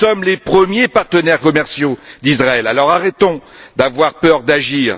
Nous sommes les premiers partenaires commerciaux d'Israël, alors arrêtons d'avoir peur d'agir.